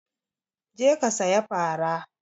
Je ka saya fara!